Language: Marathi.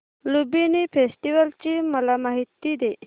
लुंबिनी फेस्टिवल ची मला माहिती दे